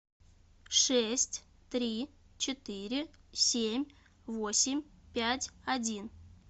шесть три четыре семь восемь пять один